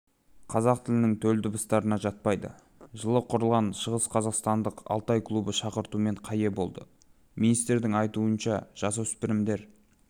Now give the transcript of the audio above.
қазақ тілінің төл дыбыстарына жатпайды жылы құрылған шығысқазақстандық алтай клубы шақыртуымен қаие болды министрдің айтуынша жасөспірімдер